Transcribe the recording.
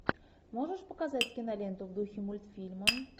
можешь показать киноленту в духе мультфильма